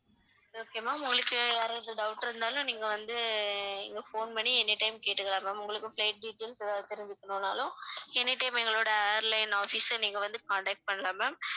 okay ma'am உங்களுக்கு வேற எதாவது doubt இருந்தாலும் நீங்க வந்து இங்க phone பண்ணி any time கேட்டுக்கலாம் ma'am உங்களுக்கு flight details எதாவது தெரிஞ்சுக்கணும்னாலும் any time எங்களோட airline office அ நீங்க வந்து contact பண்ணலாம் ma'am